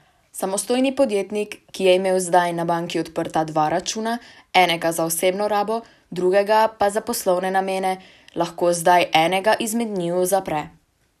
Samostojni podjetnik, ki je imel zdaj na banki odprta dva računa, enega za osebno rabo drugega pa za poslovne namene, lahko zdaj enega izmed njiju zapre.